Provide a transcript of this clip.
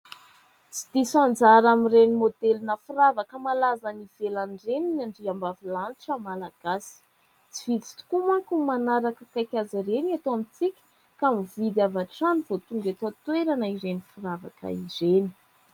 Tsy diso anjara amin'ireny maodelina firavaka malaza any ivelany ireny ny andriambavilanitra malagasy. Tsy vitsy tokoa manko no manaraka akaiky azy ireny eto amintsika ka mividy avy hatrany vao tonga eto an-toerana ireny firavaka ireny.